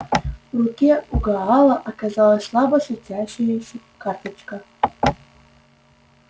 в руке у гаала оказалась слабо светящаяся карточка